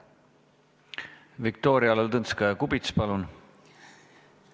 Viktoria Ladõnskaja-Kubits, palun!